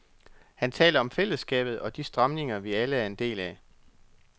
Han taler om fællesskabet og de strømninger, vi alle er en del af.